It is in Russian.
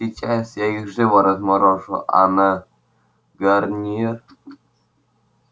сейчас я их живо разморожу а на гарнир